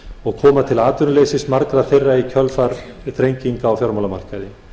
og koma til atvinnuleysis margra þeirra í kjölfar þrenginga á fjármálamarkaði